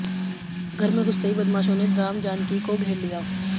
घर में घुसते ही बदमाशों ने रामजानकी को घेर लिया